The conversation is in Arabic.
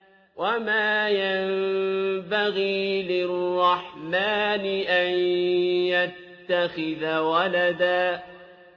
وَمَا يَنبَغِي لِلرَّحْمَٰنِ أَن يَتَّخِذَ وَلَدًا